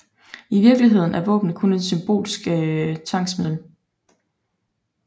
I virkeligheden er våbnene kun et symbolsk tvangsmiddel